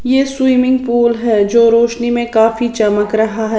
यह swimming pool है जो रोशनी में काफी चमक रहा है।